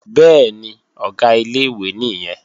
Bẹ́ẹ̀ni, Ọ̀gá ilé-ìwé nìyẹn